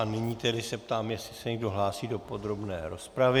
A nyní se tedy ptám, jestli se někdo hlásí do podrobné rozpravy.